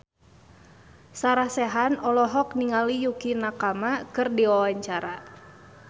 Sarah Sechan olohok ningali Yukie Nakama keur diwawancara